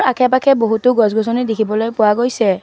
আখে পাখে বহুতো গছ-গছনি দেখিবলৈ পোৱা গৈছে।